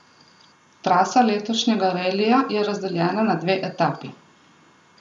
Trasa letošnjega relija je razdeljena na dve etapi.